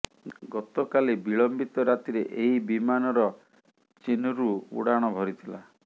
ଗତକାଲି ବିଳମ୍ବିତ ରାତିରେ ଏହି ବିମାନର ଚୀନ୍ରୁ ଉଡାଣ ଭରିଥିଲା